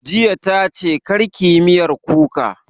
Jiya ta ce 'Kar ki yi miyar kuka'